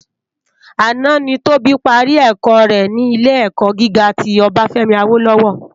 Àná ni Tobi pàrí èkò re ni Ilé èkò gigá ti Obafemi Awolowo